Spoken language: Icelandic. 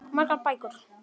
Sveitin sleppti tökum.